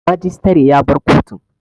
Majistare ya bar kotun